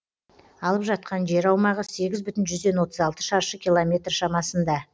алып жатқан жер аумағы сегіз бүтін жүзден отыз алты шаршы километр шамасында